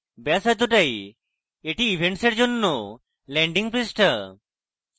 ব্যাস এতটাই এটি events এর জন্য landing পৃষ্ঠা